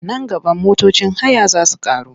Nan gaba motocin haya za su ƙaru.